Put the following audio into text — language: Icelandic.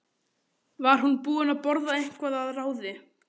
Var hún búin að borða eitthvað að ráði?